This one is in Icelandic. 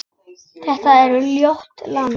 Þetta var ljótt land.